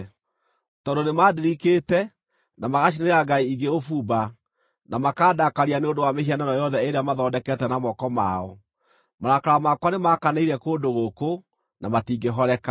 Tondũ nĩmandirikĩte, na magacinĩra ngai ingĩ ũbumba, na makaandakaria nĩ ũndũ wa mĩhianano yothe ĩrĩa mathondekete na moko mao, marakara makwa nĩmakanĩire kũndũ gũkũ, na matingĩhoreka.’